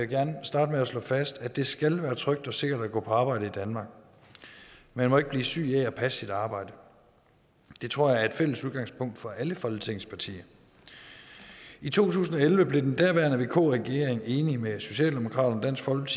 gerne starte med at slå fast at det skal være trygt og sikkert at gå på arbejde i danmark man må ikke blive syg af at passe sit arbejde det tror jeg er et fælles udgangspunkt for alle folketingets partier i to tusind og elleve blev den daværende vk regering enig med socialdemokraterne